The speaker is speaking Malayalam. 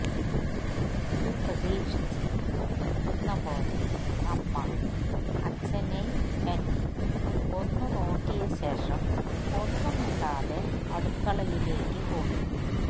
ഇതു പ്രതീഷിച്ഛ് ഇരുന്നപോലെ അമ്മ അച്ഛനേം എന്നേം ഒന്നു നോക്കിയ ശേഷം ഒന്നും മിണ്ടാതെ അടുക്കളയിലെക് പോയി